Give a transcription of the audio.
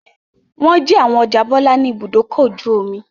Wọ́n jí àwọn ọjà Bọ́lá ní Ibùdó-ọkọ̀ ojú-omi?